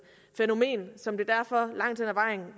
fænomen som det derfor langt hen ad vejen